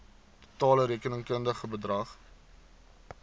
totale rekenkundige bedrag